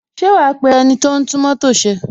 Ṣé wa pe ẹniti o ń tún mótò ṣe?